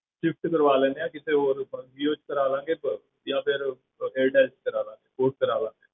Shift ਕਰਵਾ ਲੈਂਦੇ ਹਾਂ ਕਿਸੇ ਹੋਰ ਆਪਾਂ ਜੀਓ ਵਿੱਚ ਕਰਵਾ ਲਵਾਂਗੇ ਜਾਂ ਫਿਰ ਏਅਰਟੈਲ ਵਿੱਚ ਕਰਵਾ ਲਵਾਂਗੇ port ਕਰਵਾ ਲਵਾਂਗਾ।